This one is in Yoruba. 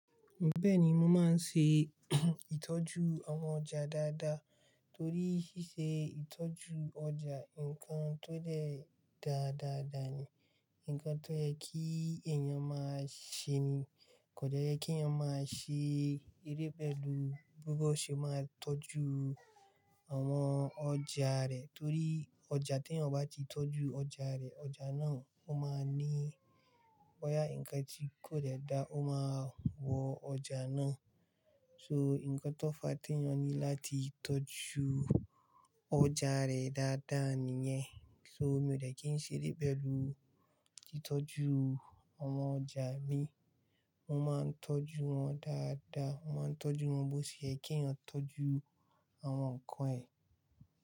Bẹ́ẹ̀ni, mo máa ń ṣe ìtọ́jú àwọn ọjà dáadáa torí ṣíṣe ìtọ́jú ọjà nǹkan tó de daa dáadáa ni, nǹkan tó yẹ kí èèyàn máa ṣe ni, kò de yẹ́ kí èèyàn máa ṣe eleyii pẹ̀lú bí ó ṣe máa ń tọ́jú àwọn ọjà rẹ̀ torí ọjà tí èèyàn kò bá ti tọ́jú ọjà rẹ̀, ọjà náà ó máa ní boya ǹkan tí kò dáa ó máa wọ ọjà náà. So ǹkan tó fa tí èèyàn ní láti tọ́jú ọjà rẹ̀ dáadáa nìyẹn. So mi ò dẹ́kìí ṣe eré pẹ̀lú titọ́jú àwọn ọjà mi. Mo máa ń tọ́jú wọn dáadáa. Mo máa ń tọ́jú wọn bó ṣe yẹ kí èèyàn tọ́jú àwọn ǹkan ẹ.